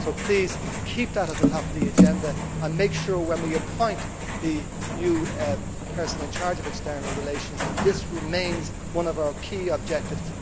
So please keep that at the top of the agenda and make sure, when we appoint the new person in charge of external relations, that dealing with this issue remains one of our key objectives.